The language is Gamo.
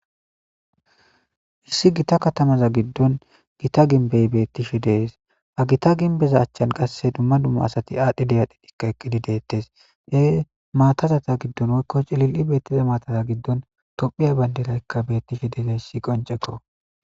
issi gita katamaza giddon gita ginbey beettishe dees ha gita ginbeza achchan qasse dumma dumma asati aadhdhi debadhidikka eqqidi deettes ye maatazata giddon woykko cilil7i beettiza maataza giddon tophiya bayndelaykka beettishe deezayssi qoncekko